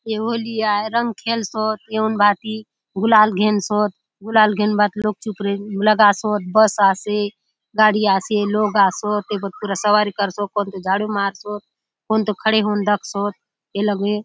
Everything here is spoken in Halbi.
ए होली आय रंग खेल सोत एउन भांति गुलाल घेनसोत गुलाल घेनुन भांति लोक चो ऊपरे लगासोत बस आसे गाड़ी आसे लोक आसोत ए गोट पूरे सवारी करसोत कौन तो झाड़ू मारसोत कौन तो खड़े होऊन दखसोत ए लगे--